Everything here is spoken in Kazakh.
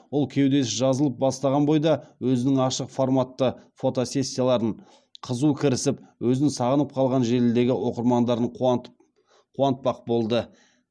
ол кеудесі жазылып бастаған бойда өзінің ашық форматты фотосессияларын қызу кірісіп өзін сағынып қалған желідегі оқырмандарын қуантпақ болды